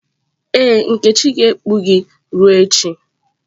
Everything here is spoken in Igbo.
Ee, nkechi ga-ekpu gị ruo echi.